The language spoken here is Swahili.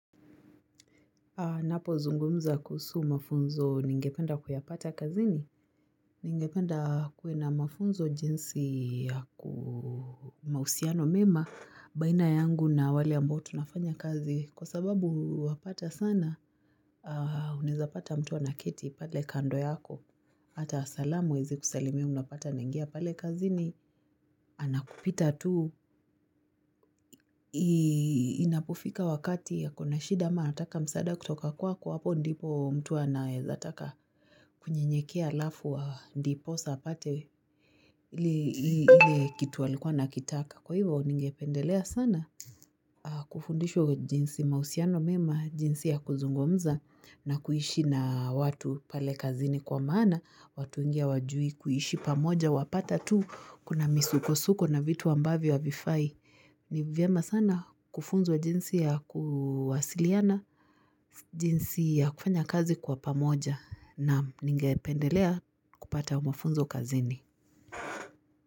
Ninapozungumza kuhusu mafunzo ningependa kuyapata kazini. Ningependa kuwe na mafunzo jinsi ya kuwa na mahusiano mema baina yangu na wale ambao tunafanya kazi. Kwasababu wapata sana, unaweza pata mtu anaketi pale kando yako. Hata salamu huwezi kusalimia unapata anaingia pale kazini. Anakupita tu. Inapofika wakati ako na shida ama anataka msaada kutoka kwako hapo ndipo mtu anaweza taka kunyenyekea alafu ndipo sa apate ile kitu alikua anakitaka, kwahivyo ningependelea sana kufundishwe jinsi mahusiano mema, jinsi ya kuzungumza na kuishi na watu pale kazini, kwa maana watu wengu hawajui kuishi pamoja wapata tu kuna misuko suko na vitu ambavyo havifai ni vyema sana kufunzwa jinsi ya kuwasiliana, jinsi ya kufanya kazi kwa pamoja naam, ningependelea kupata mafunzo kazini.